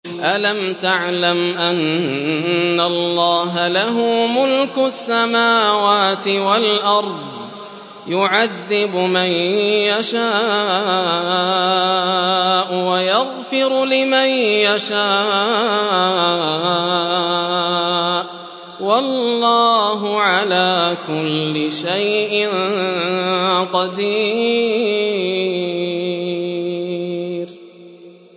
أَلَمْ تَعْلَمْ أَنَّ اللَّهَ لَهُ مُلْكُ السَّمَاوَاتِ وَالْأَرْضِ يُعَذِّبُ مَن يَشَاءُ وَيَغْفِرُ لِمَن يَشَاءُ ۗ وَاللَّهُ عَلَىٰ كُلِّ شَيْءٍ قَدِيرٌ